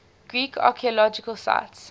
greek archaeological sites